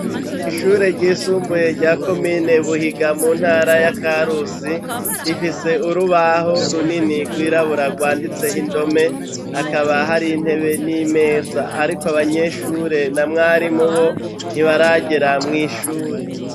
Ishure ry'isumbuye rya komine Buhiga mu ntara ya Karusi, rifise urubaho runini rw'irabura rwanditseh'indome ,hakaba har'intebe n'imeza ariko abanyeshure na mwarimu bo ntibaragera mw' ishure.